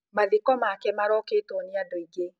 Mathiko make marokĩtwo nĩ andũ aingĩ.